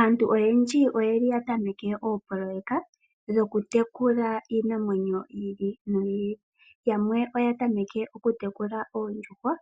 Aantu oyendji oya tameke oopoloyeka dhokutekula iinamwenyo yi ili noyi ili. Yamwe oya tameke okutekula oondjuhwa